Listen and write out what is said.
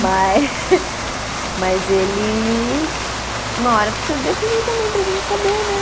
Mas. Mas ele, uma hora precisa definir também para a gente saber, né?